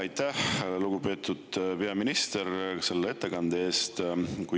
Aitäh, lugupeetud peaminister, selle ettekande eest!